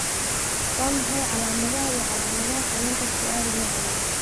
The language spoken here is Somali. Waa maxay calamadaha iyo calaamadaha xanuunka Chiari nooca labaad?